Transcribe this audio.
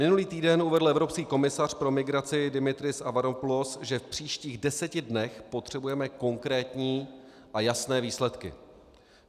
Minulý týden uvedl evropský komisař pro migraci Dimitris Avramopoulos, že v příštích deseti dnech potřebujeme konkrétní a jasné výsledky.